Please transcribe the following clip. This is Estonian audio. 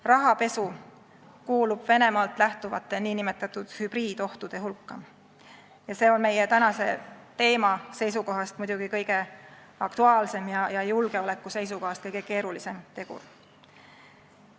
Rahapesu kuulub Venemaalt lähtuvate nn hübriidohtude hulka ja see on meie tänase teema seisukohast muidugi kõige aktuaalsem ja julgeoleku seisukohast kõige keerulisem tegur.